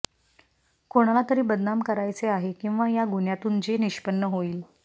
कोणाला तरी बदनाम करायचे आहे किंवा या गुन्ह्यातून जे निष्पन्न होईल